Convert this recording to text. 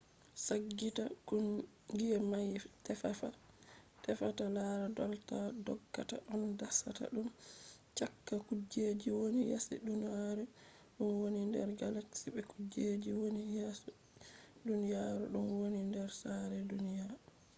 saggita kungiya mai tefata lara dolda doggata on dasata dum cakka kujejji woni yasi duniyaru ɗum woni nder galaxy be kujejji woni yasi duniyaru ɗum woni nder saare duniyaji